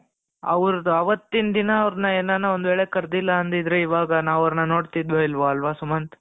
ಅವ್ರ್ದು ಅವತ್ತಿನ ದಿನ ಅವರ್ನ ಏನನ ಒಂದು ವೇಳೆ ಕರ್ದಿಲ್ಲ ಅಂದಿದಿದ್ರೆ ಇವಾಗ ನಾವು ಅವರನ್ನು ನೋಡ್ತಿದ್ವೋ ಇಲ್ಲವೋ ಅಲ್ವ ಸುಮಂತ್